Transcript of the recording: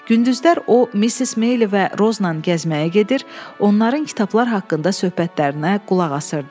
Gündüzlər o Missis Meyli və Rozla gəzməyə gedir, onların kitablar haqqında söhbətlərinə qulaq asırdı.